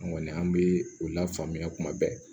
An kɔni an bɛ u lafaamuya kuma bɛɛ